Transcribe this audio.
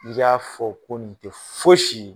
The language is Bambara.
I y'a fɔ ko nin tɛ fosi ye.